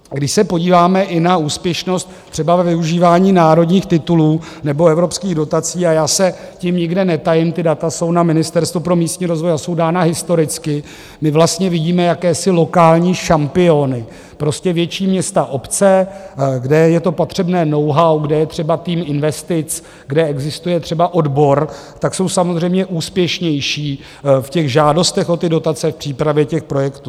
Když se podíváme i na úspěšnost třeba ve využívání národních titulů nebo evropských dotací - a já se tím nikde netajím, ta data jsou na Ministerstvu pro místní rozvoj a jsou dána historicky - my vlastně vidíme jakési lokální šampiony, prostě větší města, obce, kde je to potřebné know-how, kde je třeba tým investic, kde existuje třeba odbor, tak jsou samozřejmě úspěšnější v těch žádostech o ty dotace, v přípravě těch projektů.